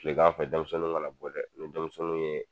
Kilegan fɛ denmisɛnninw kana bɔ dɛ ni denmisɛnninw ye